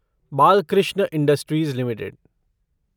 Balkrishna industries limited